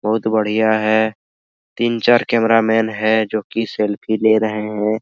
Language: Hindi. बहुत बढ़िया है तीन चार कैमरा मैन है जो की सेल्फी ले रहे है।